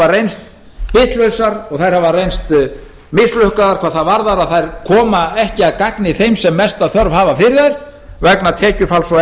reynst bitlausar og þær hafa reynst mislukkaðar hvað það varðar að þær koma ekki að gagni þeim sem mesta þörf hafa fyrir þær vegna tekjufalls og